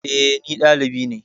Eh, ɗalibi ne